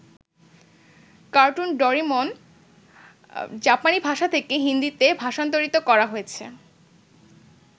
Cartoon Doraemon জাপানী ভাষা থেকে হিন্দীতে ভাষান্তরিত করা হয়েছে।